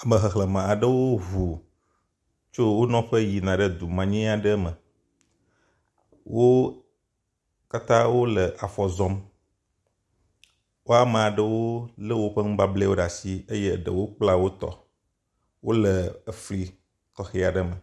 Ame xexlẽme aɖewo ŋu tso wo nɔƒe yina du manyɛ aɖewo me. Wo katã wole afɔ zɔm. Woame ɖewo le woƒe nubablɛwo ɖe asi eye eɖewo kpla wotɔ. Wole efli tɔxɛ aɖe me.